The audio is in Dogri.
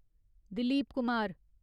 दिलीप कुमार